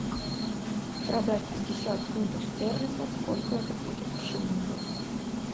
продать пятьдесят фунтов стерлингов сколько это будет в шиллингах